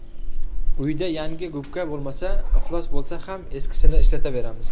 Uyda yangi gubka bo‘lmasa, iflos bo‘lsa ham eskisini ishlataveramiz.